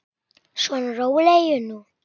Svona, rólegur nú.